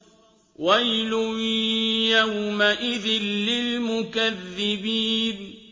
وَيْلٌ يَوْمَئِذٍ لِّلْمُكَذِّبِينَ